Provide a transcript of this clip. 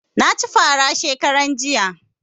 Na ci fara shekaran jiya